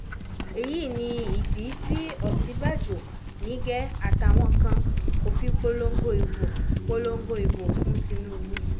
èyí nìdí tí òsínbàjò nígẹ́ àtàwọn kan kò fi polongo ìbò polongo ìbò fún tìǹbù